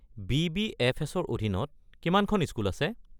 বি.বি.এফ.এছ.-ৰ অধীনত কিমানখন স্কুল আছে?